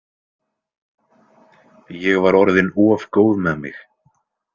Ég var orðin of góð með mig.